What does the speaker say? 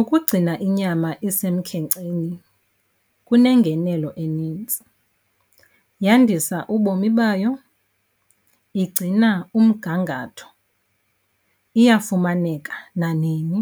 Ukugcina inyama isemkhenkceni kunengenelo enintsi. Yandisa ubomi bayo, igcina umgangatho, iyafumaneka nanini,